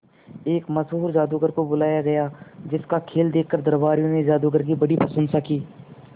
एक मशहूर जादूगर को बुलाया गया जिस का खेल देखकर दरबारियों ने जादूगर की बड़ी प्रशंसा की